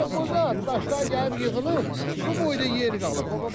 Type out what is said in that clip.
Özü də burda daşlar gəlib yığılıb, bu boyda yeri qalıb.